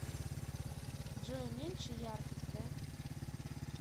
джой уменьши яркость да